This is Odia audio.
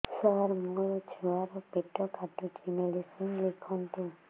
ସାର ମୋର ଛୁଆ ର ପେଟ କାଟୁଚି ମେଡିସିନ ଲେଖନ୍ତୁ